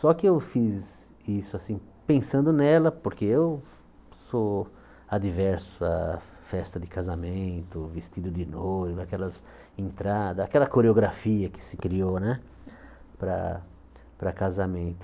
Só que eu fiz isso assim pensando nela, porque eu sou adverso à festa de casamento, vestido de noivo, aquelas entradas, aquela coreografia que se criou né para para casamento.